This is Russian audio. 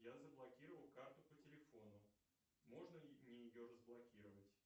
я заблокировал карту по телефону можно ли мне ее разблокировать